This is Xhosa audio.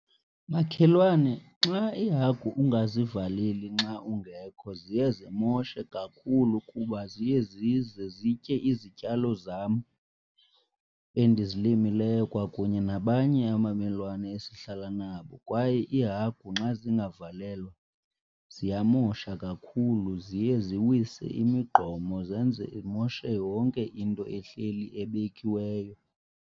Makhelwane, nxa iihagu ungazivaleli nxa ungekho ziye zimoshe kakhulu kuba ziye zize zitye izityalo zam endizilimileyo kwakunye nabanye abamelwane esihlala nabo. Kwaye iihagu nxa zingavalelwa ziyamosha kakhulu ziye ziwise imigqomo, zenze imoshe yonke into ehleli ebekiweyo.